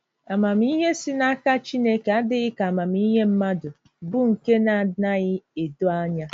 Amamihe si n’aka Chineke adịghị ka amamihe mmadụ, bụ́ nke na - anaghị edo anya.